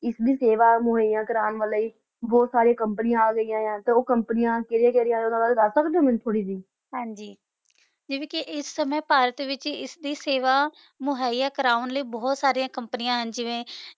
ਏਸ ਦੀ ਸੇਵਾ ਮੁਹੈਯਾ ਕਰਨ ਲੈ ਬੋਹਤ ਸਰਿਯਾਂ ਕੋਮ੍ਪਾਨੀਆਂ ਅਗੈਯਾਂ ਆਯ ਆ ਤੇ ਊ ਕੋਮ੍ਪਾਨਿਯਾਂ ਕੇਰਿਯਾ ਕੇਰਿਯਾਂ ਆਯ ਆ ਓਨਾਂ ਦਾ ਦਸ ਸਕਦੇ ਊ ਮੇਨੂ ਤੁਸੀਂ ਹਾਂਜੀ ਯਾਨੀ ਕੇ ਏਸ ਸਮੇ ਭਾਰਤ ਵਿਚ ਇਸਦੀ ਸੇਵਾ ਮੁਹੈਯਾ ਕਰਾਵਾਂ ਲੈ ਬੋਹਤ ਸਰਿਯਾਂ ਕੋਮ੍ਪਾਨਿਯਾਂ ਜਿਵੇਂ